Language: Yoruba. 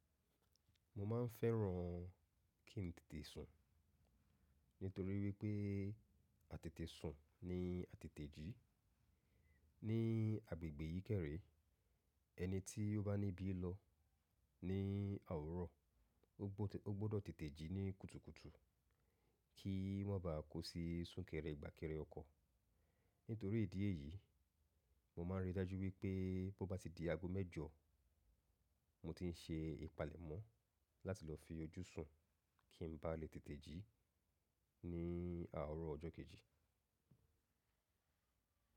Mo máa ń fẹ́ran kí n tètè sùn nítorí wípé àtètè sùn ni àtètè jí. Ní agbègbè yìí kẹ̀ré ẹni tí ó bá níbí lọ ní owurọ̀, ó gbọ́dọ̀ tètè jí ní kùtùkùtù kí wọ́n báà kó sí súnkẹrẹ gbàkẹrẹ ọkọ̀. Nítorí ìdí èyí, mo máa ń rí i dájú wípé bó bá ti di aago mẹ́jọ, mo ti ń se ìpalẹ̀mọ́ láti lọ fi ojú sùn kí n bá lè tètè jí ní à owurọ̀ ọjọ́ kejì.